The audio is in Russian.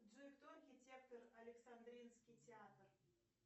джой кто архитектор александрийский театр